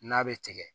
N'a bɛ tigɛ